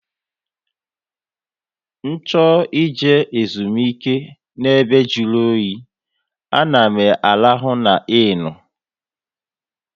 Ncho ị je ezumike n'ebe jụrụ oyi, a na m arahụ NA innu